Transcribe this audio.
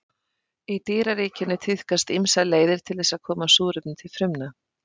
í dýraríkinu tíðkast ýmsar leiðir til þess að koma súrefni til frumna